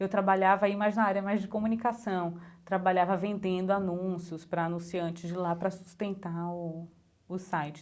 Eu trabalhava aí mais na área, mais de comunicação, trabalhava vendendo anúncios para anunciantes de lá para sustentar o o site.